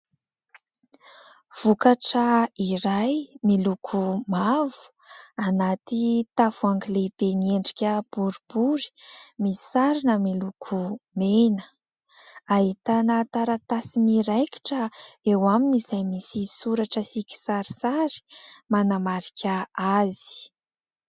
Vokatra iray miloko mavo, anaty tavoahangy lehibe niendrika boribory, misarona miloko mena; ahitana taratasy miraikitra eo aminy izay misy soratra sy kisarisary manamarika azy.